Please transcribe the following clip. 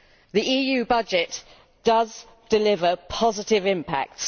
The EU budget does deliver positive impacts.